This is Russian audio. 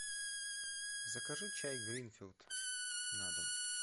закажи чай гринфилд на дом